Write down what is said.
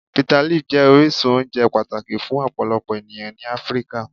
Bitterleaf jẹ orisun ounje pataki fun ọpọlọpọ eniyan ni Afirika.